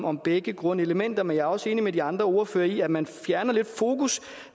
om begge grundelementer men jeg er også enig med de andre ordførere i at man lidt fjerner fokus